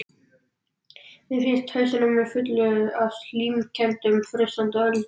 Mér finnst hausinn á mér fullur af slímkenndum frussandi öldum.